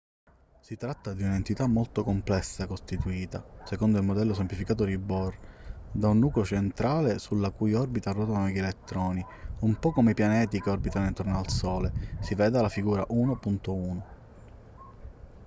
si tratta di un'entità molto complessa costituita secondo il modello semplificato di bohr da un nucleo centrale sulla cui orbita ruotano degli elettroni un po' come i pianeti che orbitano intorno al sole si veda la figura 1.1